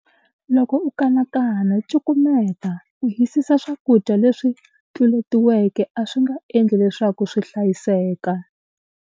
Loko u kanakana, cukumeta. Ku hisisa swakudya leswi tluletiweke a swi nga endli leswaku swi hlayiseka!